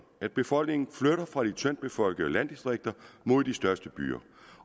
at befolkningen flytter fra de tyndt befolkede landdistrikter mod de største byer